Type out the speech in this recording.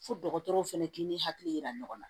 Fo dɔgɔtɔrɔw fana k'i n'u hakili yira ɲɔgɔn na